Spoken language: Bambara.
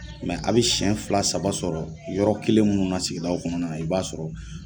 a bɛ siyɛn fila saba sɔrɔ yɔrɔ kelen minnu na sigidaw kɔnɔnana i b'a sɔrɔ